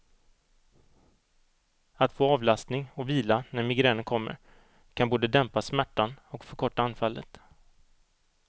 Att få avlastning och vila när migränen kommer kan både dämpa smärtan och förkorta anfallet.